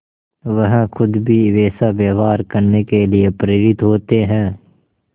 वह खुद भी वैसा व्यवहार करने के लिए प्रेरित होते हैं